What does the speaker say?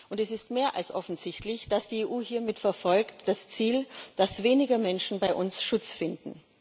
Und es ist mehr als offensichtlich, dass die EU hiermit das Ziel verfolgt, dass weniger Menschen bei uns Schutz finden.